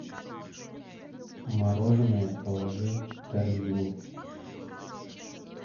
мороженое положи в корзину